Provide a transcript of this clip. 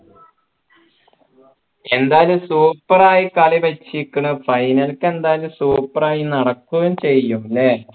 എന്തായാലും super യി കളി വെച്ചിരിക്കുന് final ക്ക് എന്തായാലും super യി നടക്കുകയും ചെയ്യും